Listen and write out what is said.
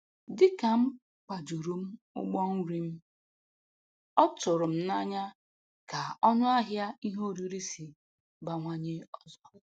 Dịka m kwajuru m ụgbọ nri m, ọ tụrụm n'anya ka ọnụahịa ihe oriri si bawanye ọzọ